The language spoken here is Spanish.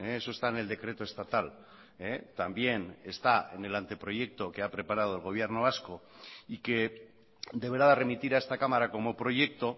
eso está en el decreto estatal también está en el anteproyecto que ha preparado el gobierno vasco y que deberá de remitir a esta cámara como proyecto